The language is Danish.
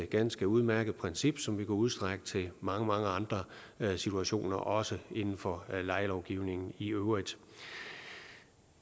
ganske udmærket princip som vi kan udstrække til mange mange andre situationer også inden for lejelovgivningen i øvrigt